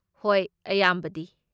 ꯍꯣꯏ, ꯑꯌꯥꯝꯕꯗꯤ꯫